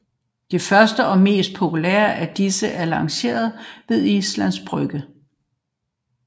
Det første og mest populære af disse er placeret ved Islands Brygge